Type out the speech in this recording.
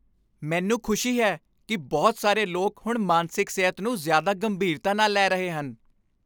ਮੈਨੂੰ ਖੁਸ਼ੀ ਹੈ ਕਿ ਬਹੁਤ ਸਾਰੇ ਲੋਕ ਹੁਣ ਮਾਨਸਿਕ ਸਿਹਤ ਨੂੰ ਜ਼ਿਆਦਾ ਗੰਭੀਰਤਾ ਨਾਲ ਲੈ ਰਹੇ ਹਨ।